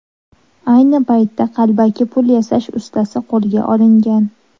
Ayni paytda qalbaki pul yasash ustasi qo‘lga olingan.